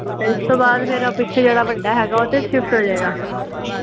ਇਸ ਤੋਂ ਬਾਅਦ ਫਿਰ ਆ ਪਿੱਛੇ ਜਿਹੜਾ ਵੱਡਾ ਹੇਗਾ ਓਦੇ ਚ ਸ਼ਿਫਟ ਹੋਜੇਗਾ